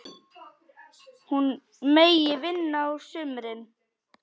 Hún megi vinna á sumrin.